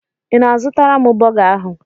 Ị na-azụtara m bọga ahụ?